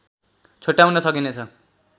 छोट्याउन सकिनेछ